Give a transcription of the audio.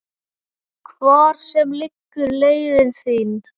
Hvar sem liggur leiðin þín.